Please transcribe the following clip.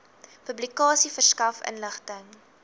publikasie verskaf inligting